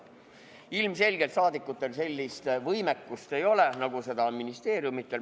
Ilmselgelt ei ole saadikutel sellist võimekust, nagu on ministeeriumidel.